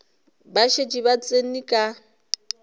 ba šetše ba tsene ka